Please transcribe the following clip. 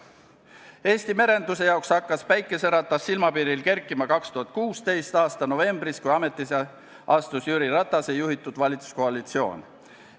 Eesti merenduse jaoks hakkas päikseratas taas silmapiirile kerkima 2016. aasta novembris, kui ametisse astus Jüri Ratase juhitud valitsuskoalitsioon.